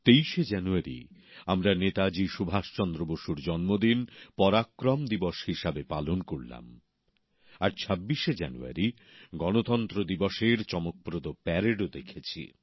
২৩শে January আমরা নেতাজি সুভাষ চন্দ্র বসুর জন্মদিন পরাক্রম দিবস হিসাবে পালন করলাম আর ২৬শে জানুয়ারি গণতন্ত্র দিবসের চমকপ্রদ প্যারেডও দেখেছি